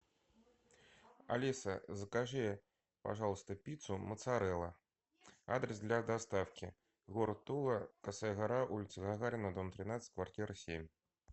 алиса закажи пожалуйста пиццу моцарелла адрес для доставки город тула косая гора улица гагарина дом тринадцать квартира семь